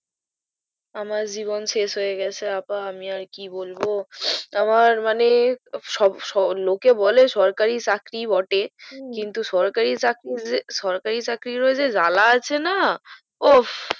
আমার জীবন শেষ হয়ে গেছে আপা আমি আর কি বলবো আমার মানে সব স লোকে বলে সরকারি চাকরি বটে কিন্তু সরকারি চাকরি যে সরকারি চাকরিও যা জ্বালা আছে না ওহ